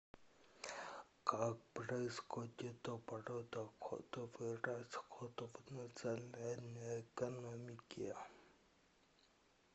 как происходит оборот доходов и расходов в национальной экономике